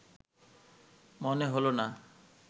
মনে হল না